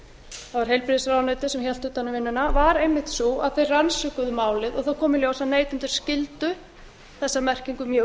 var heilbrigðisráðuneytið sem hélt utan um vinnuna var einmitt sú að þeir rannsökuðu málið og það kom í ljós að neytendur skildu þessa merkingu mjög